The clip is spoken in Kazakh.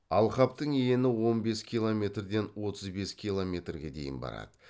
алқаптың ені он бес километрден отыз бес километрге дейін барады